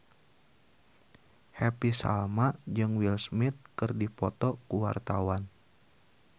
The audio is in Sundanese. Happy Salma jeung Will Smith keur dipoto ku wartawan